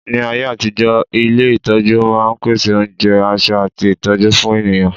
ní ayé àtijó, ilé itọju ma n pèsè onjẹ, aṣọ ati ìtọjú fún ènìyàn